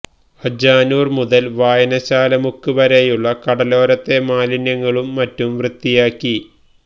അജാനൂര് മുതല് വായനശാല മുക്ക് വരെയുള്ള കടലോരത്തെ മാലിന്യങ്ങളും മറ്റും വൃത്തിയാക്കി